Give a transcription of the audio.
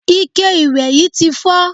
Ike ìwẹ̀ yí ti fọ́.